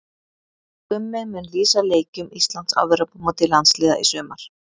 Gummi mun lýsa leikjum Íslands á Evrópumóti landsliða í sumar.